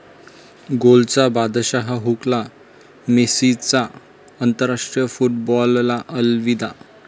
गोलचा बादशाह 'हुकला', मेस्सीचा आंतराष्ट्रीय फुटबॉलला अलविदा